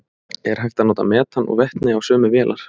Er hægt að nota metan og vetni á sömu vélar?